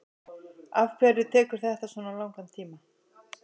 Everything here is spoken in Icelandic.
afhverju tekur þetta svona langan tíma